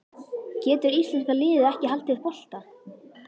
Getur íslenska liðið ekki haldið bolta?